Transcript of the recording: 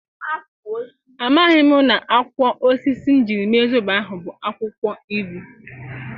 A maghi m na-akwo osisi m jiri mee Zobo ahụ bu akwụkwọ ilu.